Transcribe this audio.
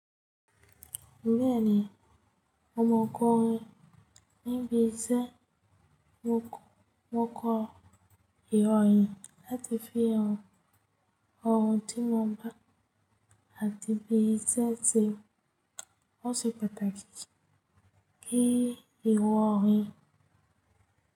Bẹ́ẹ̀ni, ọmọkùnrin níbí iṣẹ́ wọ́n kọ ìròyìn láti fi hàn ohun tí wọ́n bá, àti bí iṣẹ́ ti wọ́n ṣe pàtàkì kí ìwọ rí i.